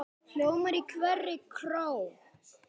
hljóma í hverri kró.